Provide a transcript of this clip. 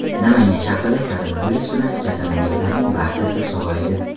Namangan shahrida koronavirus bilan kasallanganlarning barchasi sog‘aydi.